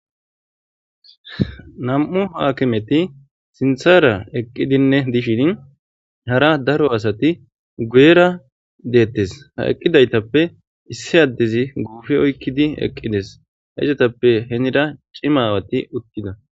Nam7u haakimeti sinthara eqqidinne dishin hara daro asati guyera deettes ha eqqidaytappe issi addezi guufi oykkidi eqqides haizatappe henira cimawati uttida